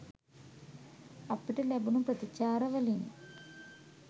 අපිට ලැබුණු ප්‍රතිචාර වලින්